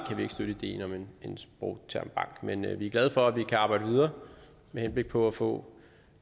støtte ideen om en en sprogtermbank men vi er glade for at vi kan arbejde videre med henblik på at få